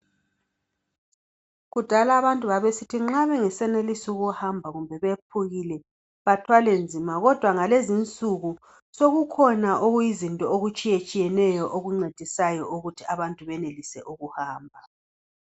Kudala abantu babesithi nxa bengasebelisi ukuhamba kumbe bephukile bathwalenzima kodwa ngalezinsuku sekukhona okuyizinto okutshiyeneyo okuncedisayo ukuthi abantu benelise ukuhamba.